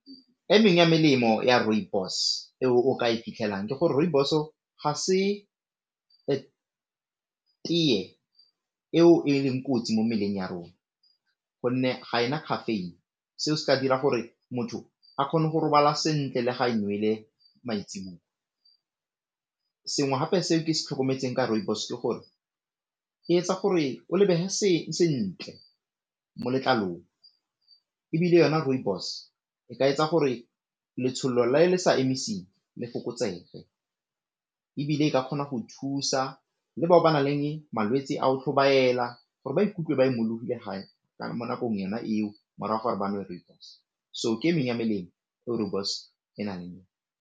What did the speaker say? E mengwe ya melemo ya rooibos e o ka e fitlhelang ke gore rooibos-o ga se tee eo e leng kotsi mo mebeleng ya rona gonne ga e na caffeine, seo se ka dira gore motho a kgone go robala sentle le ga e nole maitsiboa, sengwe gape se ke se tlhokometseng ka rooibos ke gore e etsa gore o lebege sentle mo letlalong ebile yona rooibos e ka etsa gore letshololo le le sa emisitseng le fokotsege, ebile e ka kgona go thusa le bao ba nang le malwetse a go tlhobaela gore ba ikutlwe ba imologile mo nakong yona eo morago ga gore ba nwe rooibos so ke e mengwe ya melemo eo rooibos e na leng le yone.